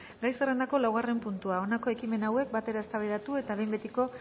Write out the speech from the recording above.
gai zerrendako laugarren puntua honako ekimen hauek batera eztabaidatu eta behin betiko